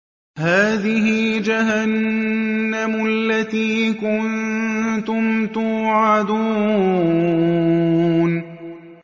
هَٰذِهِ جَهَنَّمُ الَّتِي كُنتُمْ تُوعَدُونَ